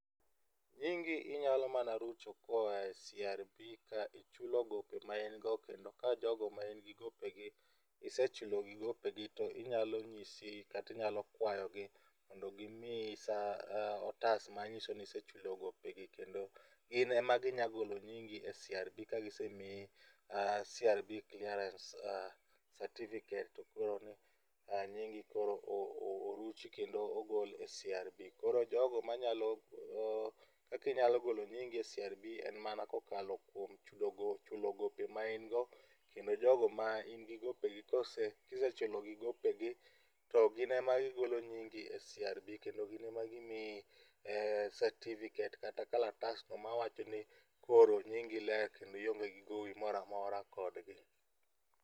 Nyingi inyalo mana rucho kae CRB ka ichulo gope ma in go kendo ka jogo ma ingi gopegi isechulogi gopegi to inyalo nyisi kata inyalo kwayogi mondo gimiyi otas manyisoni isechulo gopegi kendo gin ema ginya golo nyingi e CRB ka gisemiyi CRB clearance certificate to koro nyingi koro oruchi kendo ogol e CRB.Koro jogo manyalo, kaka inyalo golo nyingi e CRB en kokalo chulo gope main go kendo jogo ma in gi gopegi kose, kisechulogi gopegi to gin ema gigolo nyingi e CRB kendo gin ema gimiyi certificate kata kalatas mawachoni kro nyingi ler kendo ionge gi gowi moro amora kodgi